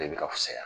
De bi ka fusaya